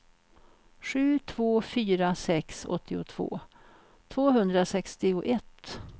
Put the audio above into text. sju två fyra sex åttiotvå tvåhundrasextioett